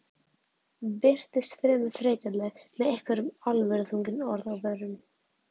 Virtist fremur þreytuleg með einhver alvöruþrungin orð á vörunum.